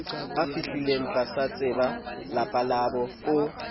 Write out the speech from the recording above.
afihlilengo tlatseba lapa labo o